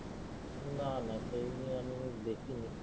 না না সেই নিয়ে আমি দেখি নি।